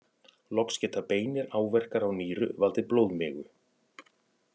Loks geta beinir áverkar á nýru valdið blóðmigu.